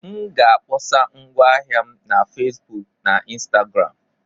M ga-akpọsa ngwa ahịa m na Facebook na Instagram.